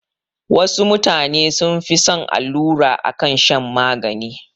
Wasu mutane sun fi son allura akan shan magani